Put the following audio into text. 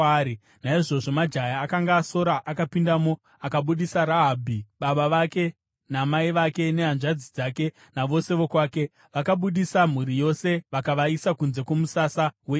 Naizvozvo majaya akanga asora akapindamo akabudisa Rahabhi, baba vake namai vake nehanzvadzi dzake navose vokwake. Vakabudisa mhuri yose vakavaisa kunze kwomusasa weIsraeri.